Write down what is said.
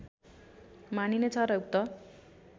मानिने छ र उक्त